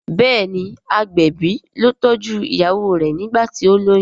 béèni agbẹbi ló tọjú ìyàwó rẹ nigbati o loyún.